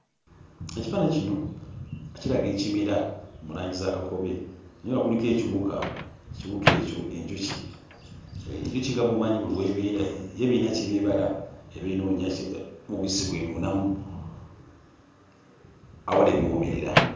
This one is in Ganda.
Ekifaananyi kino kiraga ekimera mu langi za kakobe naye nga kuliko ekiwuka, ekiwuka ekyo enjuki. Enjuki nga bw'omanyi buli w'ebeera yo eba eyina ky'eba ebala. Eba enoonya mubisi gw'enuunamu awali ebiwoomerera.